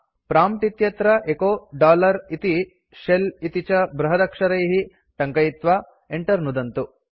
prompt इत्यत्र echo इति shell इति च बृहदक्षरैः टङ्कयित्वा enter नुदन्तु